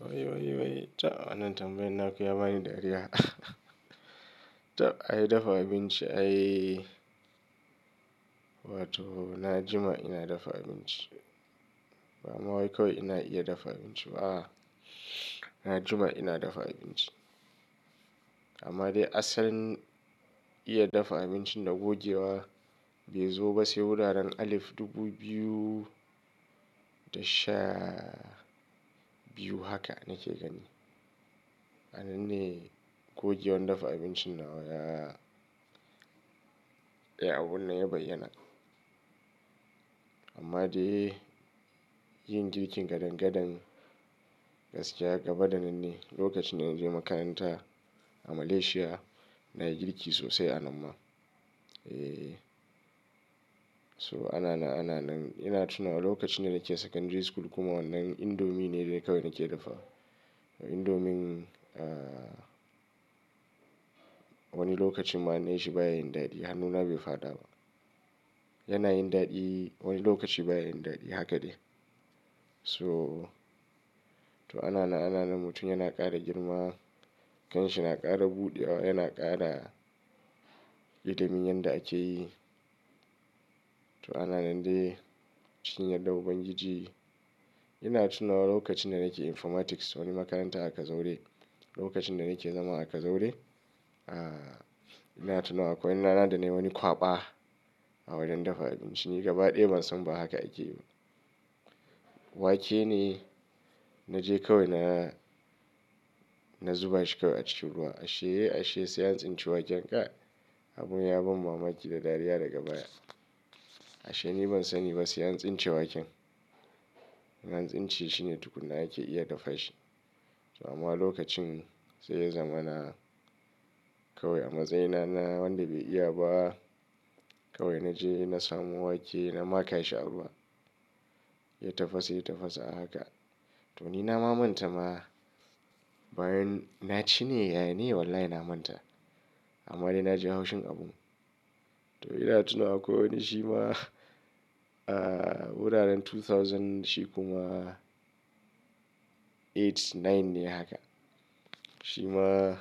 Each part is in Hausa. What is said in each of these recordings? Wai, ta. Wannan tambayan na ka ya bani dariya. Tab, ai dafa abinci ai. Wato, na jima ina dafa abinci. Bama wai kawai ina iya dafa abinci ba. A'a, na jima ina dafa abinci. Amma de asalin, iya dafa abincin da gogewa, bai zo ba sai wuraren alif dubu biyu, da sha, biyu. Haka nake gani. Nan ne, gogewan dafa abincin na ya Eh, abun nan ya bayyana. Amma de, yin girkin gadan-gadan, gaskiya gaba da nan ne lokacin da na je makaranta, a Malaysia. Na yi girki sosai a nan ma. Eh. So ana nan, ana nan. Ina tuna lokacin da nake secondary school kuma wannan indomie ne kawai nake dafawa. Indomien a wani lokacin ma in na yi shi baya yin daɗi. Hannuna bai faɗa ba. Yana yin daɗi, wani lokaci baya yin daɗi. Haka dai. So, to ana nan, ana nan mutum yana ƙara girma. Kanshi na ƙara buɗewa, yana ƙara, ilimin yadda ake yi. To ana nan de, cikin yaddan ubangiji. Ina tunawa lokacin da nake informatics wani makaranta a Kazaure. Lokacin da nake zama a Kazaure, a, ina tuna akwai rana da nayi wani kwaba, a wurin dafa abinci. Ni gabaɗaya ban san ba haka ake yi. Wake ne na je kawai na zuba shi kawai a cikin ruwa. Ashe, ashe sai an tsince waken. Ka, abun ya ban mamaki da dariya daga baya. Ashe ni ban sani ba sai an tsince waken. An tsince shi ne tukuna ake iya dafa shi. To amma lokacin sai ya zama na kawai amatsayina na wanda bai iya ba. Kawai na je na samu wake na ma ka shi a ruwa. Ya tafasa, ya tafasa haka. To ni na manta ma bayan na ci ne. Ya ne wallahi na manta. Amma dai na ji haushin abun. To ina tunawa kawai shi ma wuraren 2000 shi kuma eight nine ne haka. Shi ma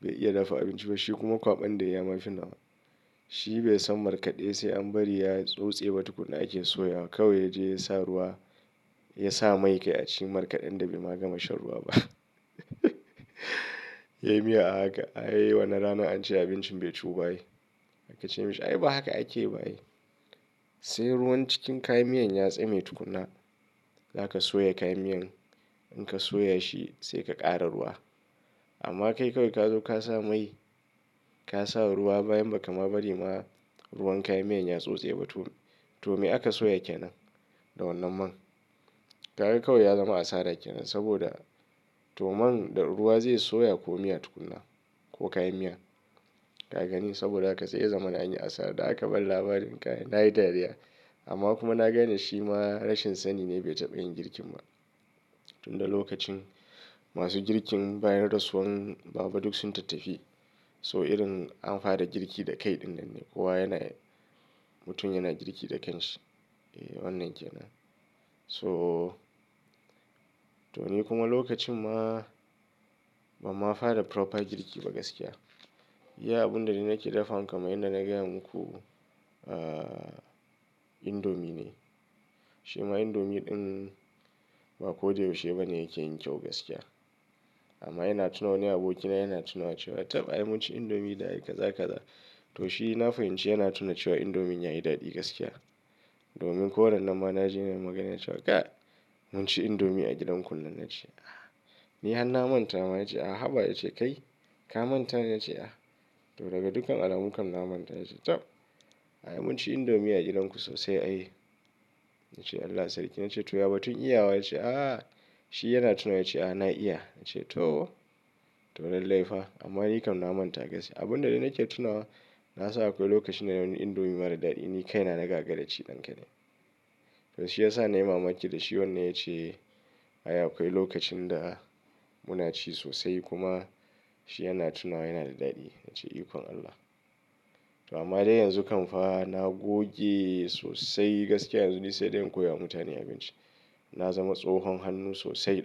bai iya dafa abinci ba. Shi kuma kwaɓan da ya yi yama finawa. Shi bai san markaɗe sai an bari ya tsose ba tukuna ake soyawa. Kawai ya je ya sa ruwa, ya sa mai kai a ci markaɗan da bai ma gama shan ruwa ba. Yayi miya a haka. Ai wannan rana an ce abincin bai ciwu ba ai. Aka ce mashi ai ba haka ake ba ai. Sai ruwan cikin kayan miyan ya tsame tukuna, za ka soya kayan miyan. In ka soya shi sai ka ƙara ruwa. Amma kai kawai ka zo ka sa mai, ka sa ruwa bayan ba ka ma bari ma ruwan kayan miyan ya tsose ba tukuna. To me aka soya kenan? Da wannan man? Kaga kawai ya zama asara kenan saboda to man da ruwa zai soya ko miya tukuna ko kayan miya. Kaga ni saboda haka sai ya zama na anyi asara da aka ban labarin kai. Na yi dariya amma kuma na gane shi ma rashin sani ne bai taɓa yin girki ba. Tunda lokacin masu girkin bayan rasuwan baba duk sun tattafi. So irin an fara girki da kai dinnan ne. Kowa yana, mutum yana girki da kanshi. Eh wannan kenan. So to ni kuma lokacin ma ban ma fara proper girki ba gaskiya. Iya abun da dai nake dafawa kamar yadda na gaya muku indomie ne. Shi ma indomie ɗin ba ko da yaushe bane yake yin kyau gaskiya. Amma ina tunawa wani abokina yana tunawa cewa tab ai mun ci indomie da kaza kaza. To shi na fahimci yana tunawa cewa indomie ya yi daɗi gaskiya. Domin ko rannan ma na ji yana magana cewa kai mun ci indomie a gidanku nan na ce. Ah ni har na manta. Ma ya ce a haba ya ce kai ka manta? Na ce a to daga dukkan alamunkam na manta. Ya ce tab ai mun ci indomie a gidanku sosai ai. Na ce Allah sarkin. Na ce to yaba tun iyawa. Ya ce a shi yana tunawa ya ce ai na iya. Na ce to, to lallai fa amma ni kam na manta gaskiya. Abun da dai nake tunawa na san akwai lokacin da wani indomie mara daɗi ni kai na nagagara ci. To shi ya sa na yi mamaki da shi wannan ya ce ai akwai lokacin da muna ci sosai kuma shi yana tunawa yana da daɗi. Na ce ikon Allah. To amma dai yanzu kam fa na goge sosai gaskiya yanzu dai sai dai in koya wa mutane abinci. Na zama tsohon hannu sosai.